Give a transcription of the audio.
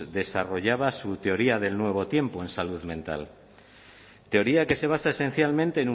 desarrollaba su teoría del nuevo tiempo en salud mental teoría que se basa esencialmente